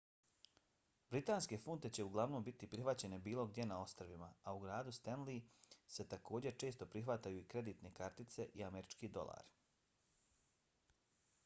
britanske funte će uglavnom biti prihvaćene bilo gdje na ostrvima a u gradu stenly se također se često prihvataju i kreditne kartice i američki dolari